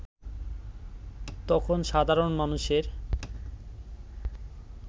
তখন সাধারণ মানুষের